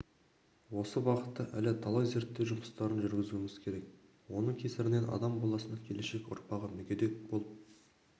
осы бағытта әлі талай зерттеу жұмыстарын жүргізуіміз керек оның кесірінен адам баласының келешек ұрпағы мүгедек болып